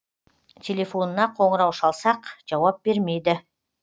телефонына қоңырау шалсақ жауап бермейді